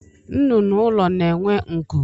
Nnụnụ ụlọ na-enwe nku